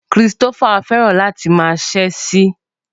Christopher fẹ́ràn láti máa ta Ṣẹ́ẹ̀sì